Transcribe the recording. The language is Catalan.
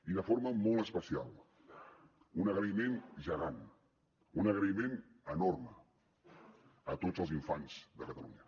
i de forma molt especial un agraïment gegant un agraïment enorme a tots els infants de catalunya